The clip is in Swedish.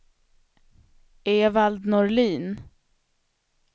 Evald Norlin